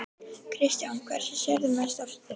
Kristján: Hverju sérðu mest eftir?